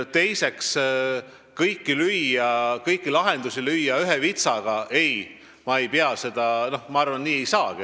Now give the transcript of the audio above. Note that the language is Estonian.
Teiseks, kõike lahendada ühe vitsaga lüües – ei, ma arvan, et nii ei saagi.